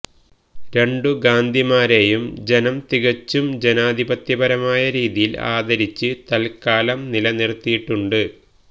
രണ്ടു ഗാന്ധിമാരെയും ജനം തികച്ചും ജനാധിപത്യപരമായ രീതിയിൽ ആദരിച്ച് തൽക്കാലം നിലത്തിരുത്തിയിട്ടുണ്ട്